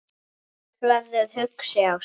Jónas verður hugsi á svip.